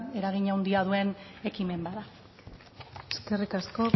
eragin handia duen ekimen bat da eskerrik asko